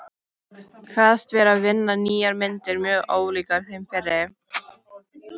Kveðst vera að vinna nýjar myndir mjög ólíkar þeim fyrri.